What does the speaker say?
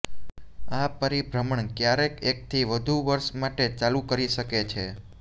આ પરિભ્રમણ ક્યારેક એકથી વધુ વર્ષ માટે ચાલુ કરી શકે છે